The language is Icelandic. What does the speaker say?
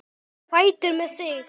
Á fætur með þig!